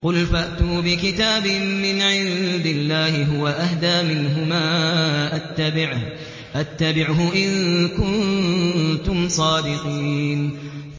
قُلْ فَأْتُوا بِكِتَابٍ مِّنْ عِندِ اللَّهِ هُوَ أَهْدَىٰ مِنْهُمَا أَتَّبِعْهُ إِن كُنتُمْ صَادِقِينَ